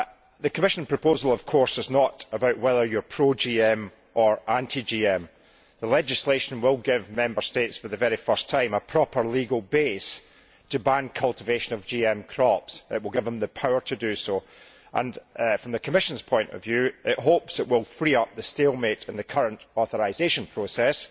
The Commission proposal, of course, is not about whether you are pro GM or anti GM. The legislation will give Member States, for the very first time, a proper legal base to ban cultivation of GM crops. It will give them the power to do so. From the Commission's point of view it will hopefully free up the stalemate in the current authorisation process,